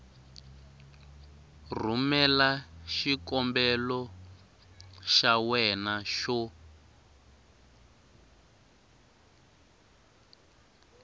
rhumela xikombelo xa wena xo